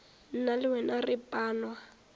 nna le wena re panwa